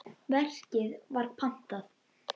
Verkið var pantað.